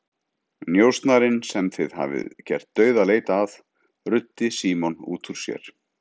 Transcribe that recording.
Njósnarinn sem þið hafið gert dauðaleit að, ruddi Símon út úr sér.